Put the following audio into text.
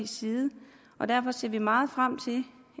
side derfor ser vi meget frem til